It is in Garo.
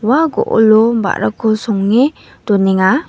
ua go·olo ba·rako songe donenga.